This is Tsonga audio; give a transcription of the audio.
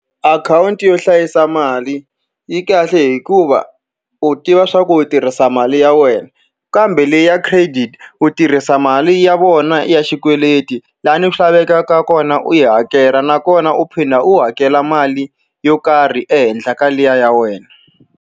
Akhawunti yo hlayisa mali yi kahle hikuva u tiva leswaku u tirhisa mali ya wena, kambe leyi ya credit u tirhisa mali ya vona ya xikweleti. Laha ndzi lavekaka kona u yi hakela nakona, u phinda u hakela mali yo karhi ehenhla ka liya ya wena.